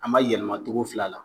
An ma yɛlɛma togo fila la